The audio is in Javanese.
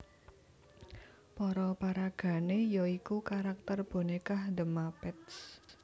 Para paragané ya iku karakter bonékah The Muppets